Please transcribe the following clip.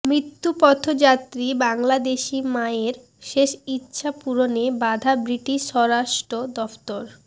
মৃত্যুপথযাত্রী বাংলাদেশি মায়ের শেষ ইচ্ছা পূরণে বাধা ব্রিটিশ স্বরাষ্ট্র দফতর